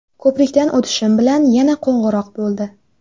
Ko‘prikdan o‘tishim bilan yana qo‘ng‘iroq bo‘ldi.